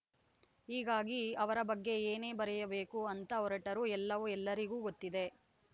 ಹೀಗಾಗಿ ಅವರ ಬಗ್ಗೆ ಏನೇ ಬರೆಯಬೇಕು ಅಂತ ಹೊರಟರೂ ಎಲ್ಲವೂ ಎಲ್ಲರಿಗೂ ಗೊತ್ತಿದೆ